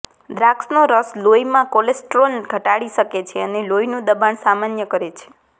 દ્રાક્ષનો રસ લોહીમાં કોલેસ્ટ્રોલ ઘટાડી શકે છે અને લોહીનું દબાણ સામાન્ય કરે છે